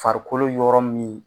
Farikolo yɔrɔ min